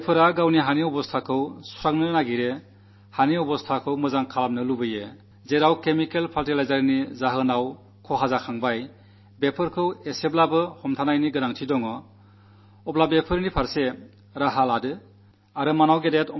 സ്വന്തം ഭൂമിയുടെ ആരോഗ്യം നന്നാക്കാനാഗ്രഹിക്കുന്നവർ ഭൂമിയുടെ ആരോഗ്യത്തെക്കുറിച്ചു വേവലാതിപ്പെടുന്നവർ രാസവളങ്ങളുടെ ദോഷം അനുഭവിച്ചുകഴിഞ്ഞവർക്ക് ഇത്തരത്തിലുള്ള വളം ആവശ്യമുണ്ടെങ്കിൽ എത്തിച്ചു കൊടുക്കുക